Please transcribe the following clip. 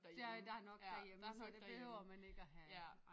Der der er nok derhjemme så der behøver man ikke at have